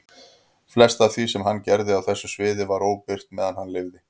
Flest af því sem hann gerði á þessu sviði var óbirt meðan hann lifði.